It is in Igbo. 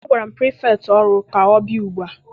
Agwara m pirifektị ọrụ ka ọ bịa ugbua!